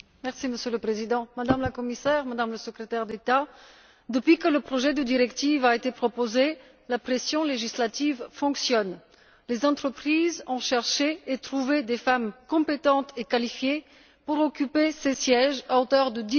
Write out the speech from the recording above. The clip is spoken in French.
Monsieur le Président, Madame la Commissaire, Madame le Secrétaire d'État, depuis que le projet de directive a été proposé la pression législative fonctionne. Les entreprises ont cherché et trouvé des femmes compétentes et qualifiées pour occuper ces sièges à hauteur de